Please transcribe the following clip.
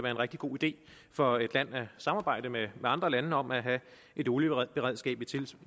en rigtig god idé for et land at samarbejde med andre lande om at have et olieberedskab